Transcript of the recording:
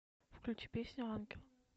включи песню ангел